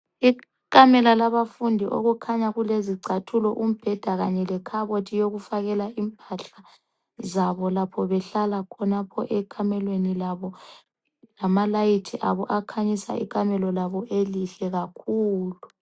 Ikamela labafundi okukhanya kulezicathulo , umbheda kanye lekhabothi yokufakela impahla zabo lapho behlala khonapho ekamelweni labo, lamalayithi abo akhanyisa ikamela labo elihle kakhulu.